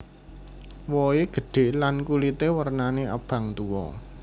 Wohé gédhé lan kulité wernané abang tuwa